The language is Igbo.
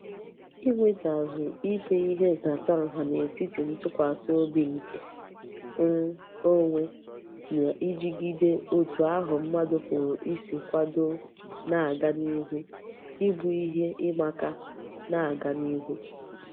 Inwetazu ime ihe nhatanha n'etiti ntukwasi obi nke um onwe na ijigide otu ahu mmadu puru isi kwado na-aga n'ihu Ibu ihe imaka na-aga n'ihu.